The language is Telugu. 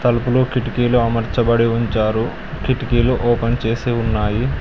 తలుపులు కిటికీలు అమర్చాబడి ఉంచారు కిటికీలు ఓపెన్ చేసి ఉన్నాయి.